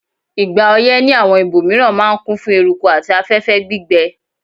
Ìgbà oyẹ́ ni àwon ibòmiran ma n kún fún eruku àti afẹ́fẹ́ gbígbẹ